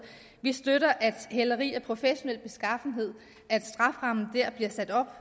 vi støtter at strafferammen hæleri af professionel beskaffenhed bliver sat op